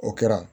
O kɛra